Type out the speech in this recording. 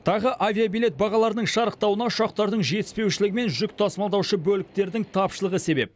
тағы авиабилет бағаларының шарықтауына ұшақтардың жетіспеушілігі мен жүк тасымалдаушы бөліктердің тапшылығы себеп